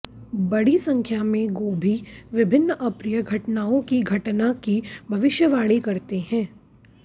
बड़ी संख्या में गोभी विभिन्न अप्रिय घटनाओं की घटना की भविष्यवाणी करते हैं